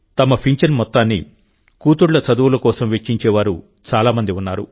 తమ పింఛన్ మొత్తాన్ని కూతుళ్ల చదువుల కోసం వెచ్చించే వారు చాలా మంది ఉన్నారు